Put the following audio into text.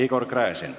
Igor Gräzin.